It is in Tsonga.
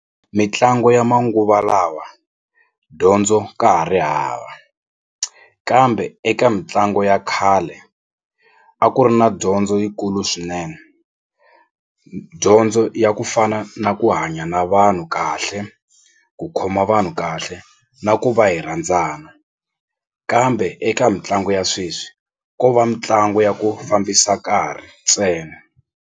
Mitlangu ya manguva lawa dyondzo ka ha ri hava kambe eka mitlangu ya khale a ku ri na dyondzo yikulu swinene dyondzo ya ku fana na ku hanya na vanhu kahle ku khoma vanhu kahle na ku va hi rhandzana kambe eka mitlangu ya sweswi ko va mitlangu ya ku fambisa nkarhi ntsena.